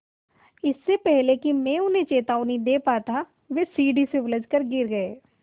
इससे पहले कि मैं उन्हें चेतावनी दे पाता वे सीढ़ी से उलझकर गिर गए